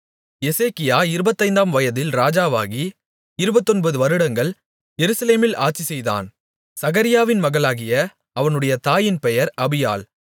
எசேக்கியா இருபத்தைந்தாம் வயதில் ராஜாவாகி இருபத்தொன்பது வருடங்கள் எருசலேமில் ஆட்சிசெய்தான் சகரியாவின் மகளாகிய அவனுடைய தாயின் பெயர் அபியாள்